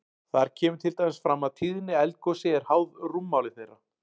Þar kemur til dæmis fram að tíðni eldgosi er háð rúmmáli þeirra.